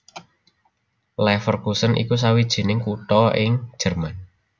Leverkusen iku sawijining kutha ing Jèrman